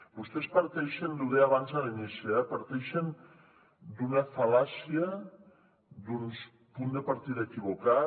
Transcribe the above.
vostès parteixen ho deia abans a l’inici d’una fal·làcia d’un punt de partida equivocat